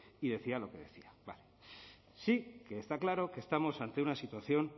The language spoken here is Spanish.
y decía lo que decía sí que está claro que estamos ante una situación